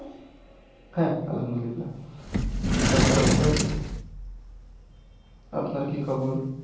হ্যাঁ আল্লাহামদুল্লিয়া তারপর আপনাদের আপনার কি খবর